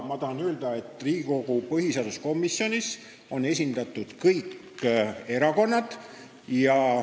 Ma tahan öelda, et Riigikogu põhiseaduskomisjonis on esindatud kõik erakonnad.